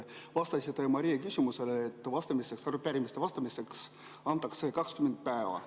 Vastasite Maria küsimusele, et arupärimistele vastamiseks antakse 20 päeva.